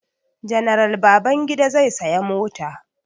General Babangida zai saya mota.